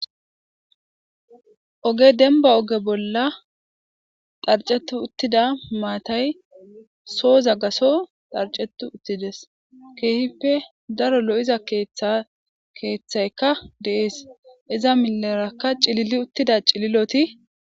Oge dembba oge bolla dharcceti uttida maatay sooza gatho dharccetti uttides. Keehipe daro lo7iza keethayka de7ees iza milleraka cilili uttida cililoti.....